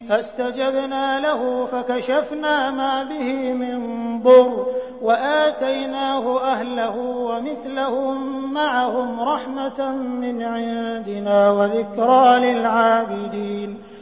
فَاسْتَجَبْنَا لَهُ فَكَشَفْنَا مَا بِهِ مِن ضُرٍّ ۖ وَآتَيْنَاهُ أَهْلَهُ وَمِثْلَهُم مَّعَهُمْ رَحْمَةً مِّنْ عِندِنَا وَذِكْرَىٰ لِلْعَابِدِينَ